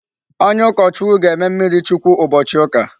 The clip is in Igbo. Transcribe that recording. Onye ukochukwu ga-eme mmiri chukwu ubochi uka